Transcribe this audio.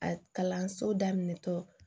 A kalanso daminɛtɔ